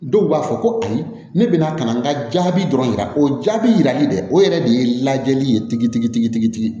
Dɔw b'a fɔ ko ayi ne bɛna ka na n ka jaabi dɔrɔn o jaabi yirali dɛ o yɛrɛ de ye lajɛli ye tigitigi